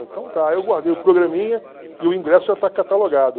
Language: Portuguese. Então tá, eu guardei o programinha e o ingresso já está catalogado.